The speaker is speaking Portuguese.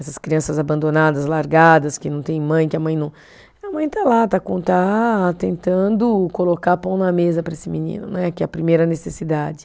Essas crianças abandonadas, largadas, que não tem mãe, que a mãe não, a mãe está lá, está com, está tentando colocar pão na mesa para esse menino né, que é a primeira necessidade.